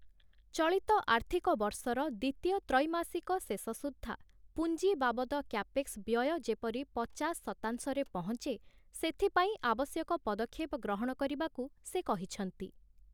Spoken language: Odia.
ଚଳିତ ଆର୍ଥିକ ବର୍ଷର ଦ୍ୱିତୀୟ ତ୍ରୈମାସିକ ଶେଷସୁଦ୍ଧା ପୁଞ୍ଜି ବାବଦ କ୍ୟାପେକ୍ସ ବ୍ୟୟ ଯେପରି ପଚାଶ ଶତାଂଶରେ ପହଞ୍ଚେ, ସେଥିପାଇଁ ଆବଶ୍ୟକ ପଦକ୍ଷେପ ଗ୍ରହଣ କରିବାକୁ ସେ କହିଛନ୍ତି ।